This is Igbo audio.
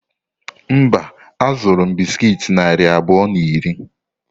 Mba, azụrụ m bisikiiti narị abụọ na iri.